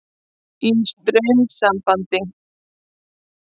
Í straumsambandi.